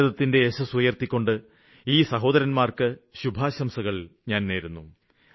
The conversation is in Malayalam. ഭാരതത്തിന്റെ യശസ്സ് ഉയര്ത്തിക്കൊണ്ട് ഈ സഹോദരന്മാര്ക്ക് ശുഭാശംസകള് നേരുന്നു